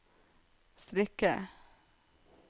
strikke